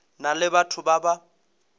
na le batho ba ba